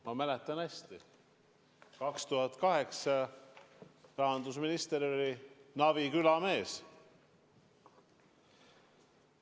Ma mäletan hästi: aastal 2008 oli rahandusminister Navi küla mees.